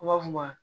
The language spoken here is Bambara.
U b'a fɔ ma